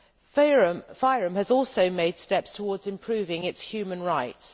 FYROM has also made steps towards improving its human rights.